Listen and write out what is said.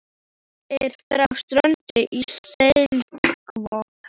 Ég er frá Strönd í Selvogi.